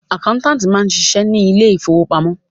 Àkáńtáàtì máa ń ṣiṣẹ́ ní ilé ìfowópamọ́.